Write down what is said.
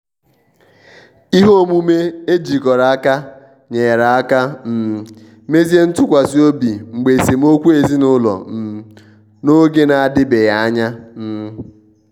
ihe omume ejikọrọ aka nyere aka um mezie ntụkwasi obi mgbe esemokwu ezinụlọ um n'oge na-adibeghị anya. um